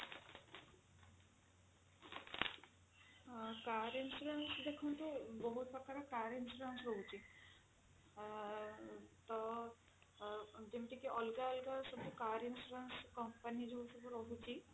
ଆଁ car insurance ଦେଖନ୍ତୁ ବହୁତ ପ୍ରକାର car insurance ରହୁଛି ଅ ତ ଅ ଯେମିତି କି ଅଲଗା ଅଲଗା ସବୁ car insurance company ଯୋଉ ସବୁ ରହୁଛି